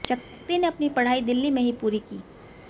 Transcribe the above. शक्ति ने अपनी पढाई दिल्ली में ही पूरी की